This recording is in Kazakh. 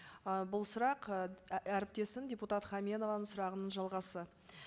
ы бұл сұрақ і әріптесім депутат хаменованың сұрағының жалғасы